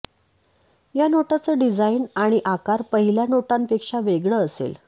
या नोटांचं डिझाइन आणि आकार पहिल्या नोटांपेक्षा वेगळं असेल